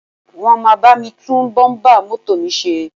Wọ́n máa bá mi tún bọ́ḿbà mọ́tò mi ṣe